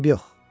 Eybi yox.